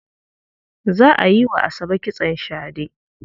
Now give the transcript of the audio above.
Za a yi wa Asabe kitson shade.